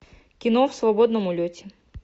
кино в свободном улете